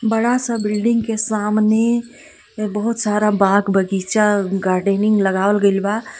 बड़ा-सा बिल्डिंग के सामने बहुत सारा बाग- बगीचा गार्डेनिंग लगावल गइल बा.